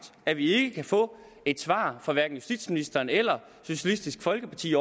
at vi ikke kan få et svar fra hverken justitsministeren eller socialistisk folkeparti